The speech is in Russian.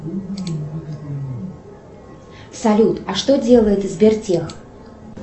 салют а что делает сбертех